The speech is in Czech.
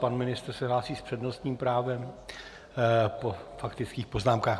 Pan ministr se hlásí s přednostním právem po faktických poznámkách.